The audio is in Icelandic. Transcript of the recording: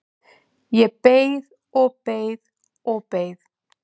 Ég beið og beið og beið!